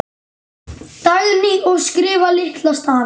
Dagný: Og skrifa litla stafi.